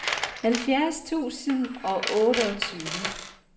halvfjerds tusind og otteogtyve